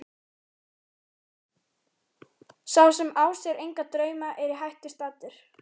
Sá sem á sér enga drauma er í hættu staddur.